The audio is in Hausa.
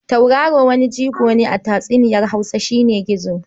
Tauraro waniƙiƙi a tatsuniyar Hausa shi ne gizo.